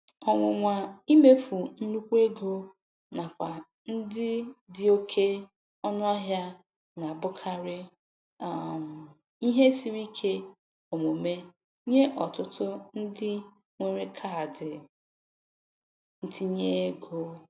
Ọnwụnwa imefu nnukwu ego n'akwa ndị dị oke ọnụahịa na-abụkarị um ihe siri ike omume nye ọtụtụ ndị nwere kaadị ntinyeego.